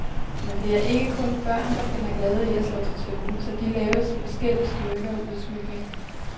Men det er ikke kun børn, der finder glæde i at slå til tønden, så de laves i forskellig styrke og udsmykning.